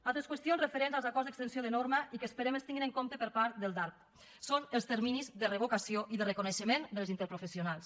altres qüestions referents als acords d’extensió de norma i que esperem que es tinguin en compte per part del darp són els terminis de revocació i de reconeixement de les interprofessionals